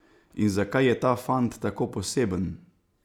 In zakaj je ta fant tako poseben?